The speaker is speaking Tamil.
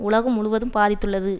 உலகம் முழுவதும் பாதித்துள்ளது